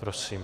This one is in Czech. Prosím.